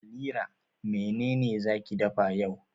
Halira mene ne za ki dafa yau?